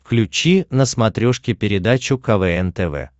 включи на смотрешке передачу квн тв